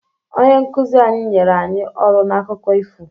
Onye nkuzi anyị nyere anyị ọrụ n'akụkọ ifo.